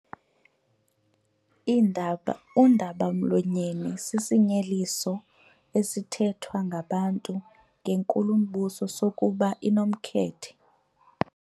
Undaba-mlonyeni sisinyeliso esithethwa ngabantu ngenkulumbuso sokuba inomkhethe.